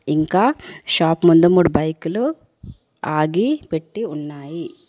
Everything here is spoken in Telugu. ఇంకా షాప్ ముందు మూడు బైకులు ఆగి పెట్టి ఉన్నాయి.